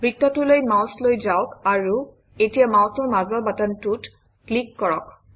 বৃত্তটোলৈ mouse লৈ যাওক আৰু এতিয়া মাউচৰ মাজৰ বাটনটোত ক্লিক কৰক